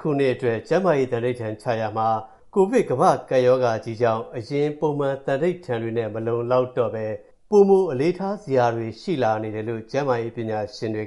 ခုအတွက် ကျန်းမာရေး သံဓိဌာန်ချရာမှာ၊ ကိုဗစ်ကမ္ဘာ့ကပ်ရောဂါကြီးကြောင့် အရင်ပုံမှန်သံဓိဌာန်တွေနဲ့ မလုံလောက်တော့ဘဲ၊ ပိုမိုအလေးထားစရာတွေ ရှိလာနေတယ်လို့ ကျန်းမာရေးပညာရှင်တွေ